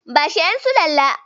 Bashi ƴan sulalla.